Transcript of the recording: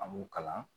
An b'u kalan